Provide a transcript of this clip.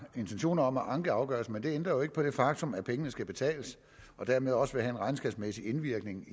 intentioner om at anke afgørelsen men det ændrer jo ikke på det faktum at pengene skal betales og dermed også vil have en regnskabsmæssig indvirkning